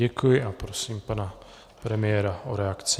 Děkuji a prosím pana premiéra o reakci.